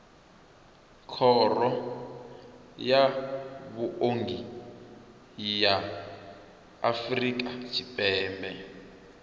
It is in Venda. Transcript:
khoro ya vhuongi ya afrika tshipembe